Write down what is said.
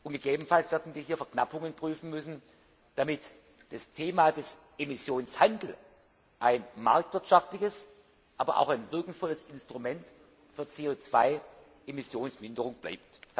Gegebenenfalls werden wir hier Verknappungen prüfen müssen, damit das Thema des Emissionshandels ein marktwirtschaftliches, aber auch ein wirkungsvolles Instrument für CO 2 Emissionsminderung bleibt.